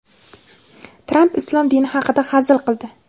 Tramp islom dini haqida hazil qildi.